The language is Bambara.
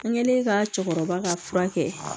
N kɛlen ka cɛkɔrɔba ka fura kɛ